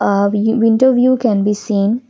a winter view can be seen.